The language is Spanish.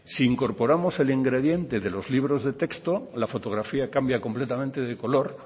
si incorporamos el ingrediente de los libros de texto la fotografía cambia completamente de color